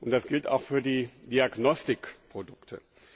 Das gilt auch für die Diagnostikprodukte.